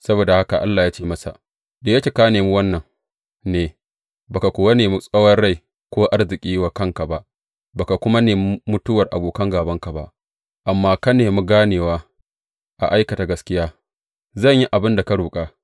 Saboda haka Allah ya ce masa, Da yake ka nemi wannan ne, ba ka kuwa nemi tsawon rai ko arziki wa kanka ba, ba ka kuma nemi mutuwar abokan gābanka ba, amma ka nemi ganewa a aikata gaskiya, zan yi abin da ka roƙa.